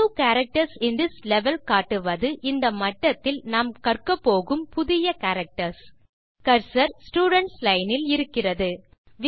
new characters in this level காட்டுவது இந்த மட்டத்தில் நாம் கற்கபோகும் புதிய கேரக்டர்ஸ் கர்சர் ஸ்டூடென்ட்ஸ் லைன் இல் இருக்கிறது